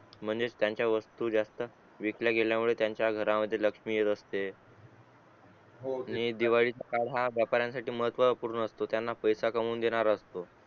म्हणजे त्याचा वस्तू जास्त विकल्या गेल्या मुले त्याचा घरामध्ये लक्ष्मी येत असते हो नि दिवाळीत हा व्यापारांसाठी खूप महत्वपूर्ण असतो त्याना पैसे कमवून देणारा असतो